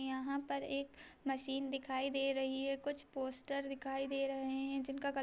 यहाँ पर एक मशीन दिखाई दे रही है कुछ पोस्टर दिखाई दे रही हैं जिनका कलर --